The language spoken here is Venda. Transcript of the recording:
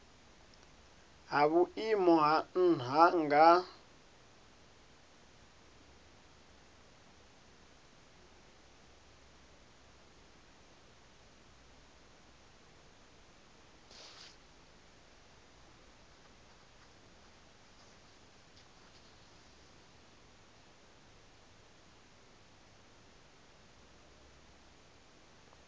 ha vhuimo ha nha nga